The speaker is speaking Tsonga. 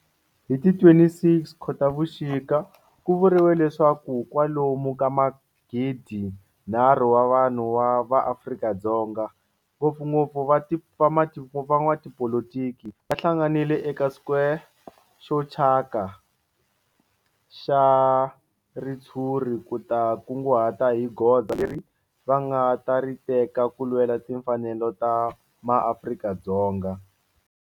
Hi ti 26 Khotavuxika ku vuriwe leswaku kwalomu ka magidinharhu wa vanhu va Afrika-Dzonga, ngopfungopfu van'watipolitiki va hlanganile eka square xo thyaka xa ritshuri ku ta kunguhata hi goza leri va nga ta ri teka ku lwela timfanelo ta maAfrika-Dzonga.